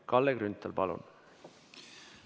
Kalle Grünthal, palun!